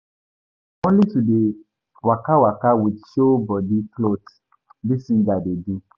Na only to dey waka waka with show-bodi clot dis singers dey do.